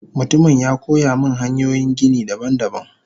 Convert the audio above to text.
Mutumin yakoyamin hanyoyin gini daban daban.